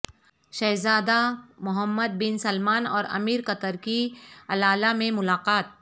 شہزادہ Mohammed bin Salman اور امیر قطر کی العلا میں ملاقات